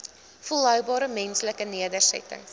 volhoubare menslike nedersettings